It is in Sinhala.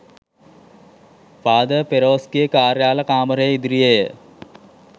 ෆාදර් ෆෙරෝස්ගේ කාර්යාල කාමරය ඉදිරියේ ය.